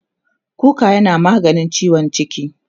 kuka yana maganin ciwon ciki